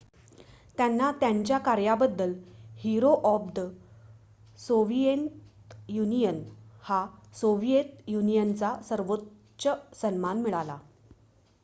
"त्यांना त्यांच्या कार्याबद्दल "hero of the Soviet Union" हा सोव्हिएत युनियनचा सर्वोच्च सन्मान मिळाला.